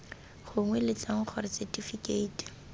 gongwe b letlang gore setifikeiti